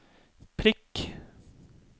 prikk